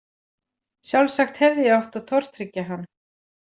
Sjálfsagt hefði ég átt að tortryggja hann.